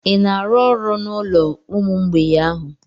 Ị na-arụ ọrụ n'olo ụmụ mgbei ahụ?